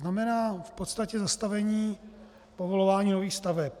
Znamená v podstatě zastavení povolování nových staveb.